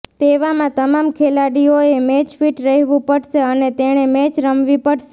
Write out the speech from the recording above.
તેવામાં તમામ ખેલાડીઓએ મેચ ફિટ રહેવું પડશે અને તેણે મેચ રમવી પડશે